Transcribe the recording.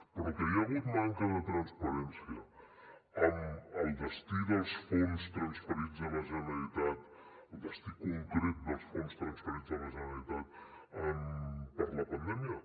però que hi ha hagut manca de transparència amb el destí dels fons transferits a la generalitat el destí concret dels fons transferits a la generalitat per la pandèmia